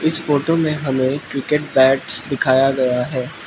इस फोटो में हमें क्रिकेट बैट्स दिखाया गया है।